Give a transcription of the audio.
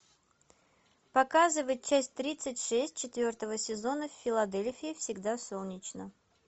показывай часть тридцать шесть четвертого сезона в филадельфии всегда солнечно